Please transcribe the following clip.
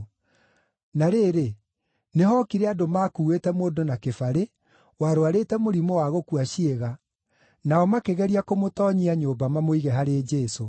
Na rĩrĩ, nĩhookire andũ makuuĩte mũndũ na kĩbarĩ, warũarĩte mũrimũ wa gũkua ciĩga, nao makĩgeria kũmũtoonyia nyũmba mamũige harĩ Jesũ.